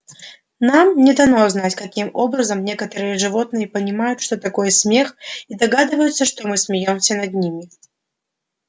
нам не дано знать каким образом некоторые животные понимают что такое смех и догадываются что мы смеёмся над ними